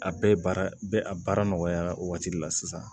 A bɛɛ baara bɛ a baara nɔgɔya o waati de la sisan